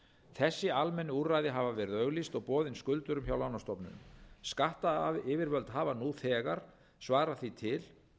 lánakjör þessi almennu úrræði hafa verið auglýst og boðin skuldurum hjá lánastofnunum skattyfirvöld hafa nú þegar svarað því til